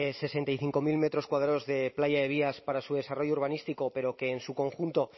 sesenta y cinco mil metros cuadrados de playa de vías para su desarrollo urbanístico pero que en su conjunto